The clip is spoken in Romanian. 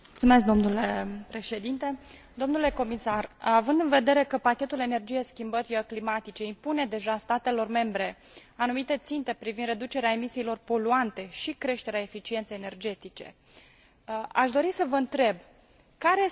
Având în vedere că pachetul energie schimbări climatice impune deja statelor membre anumite ținte privind reducerea emisiilor poluante și creșterea eficienței energetice, aș dori să vă întreb care sunt măsurile pe care le luați pentru a sprijini